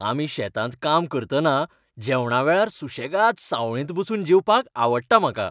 आमी शेतांत काम करतना जेवणा वेळार सुशेगाद सावळेंत बसून जेवपाक आवडटा म्हाका.